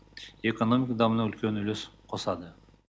экономиканың дамуына үлкен үлес қосады